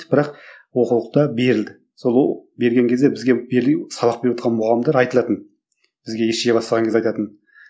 бірақ оқулықта берілді сол берген кезде бізге сабақ берівотқан мұғалімдер айтылатын бізге ес жия бастағанда кезде айтатын